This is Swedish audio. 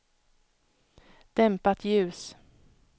dämpat ljus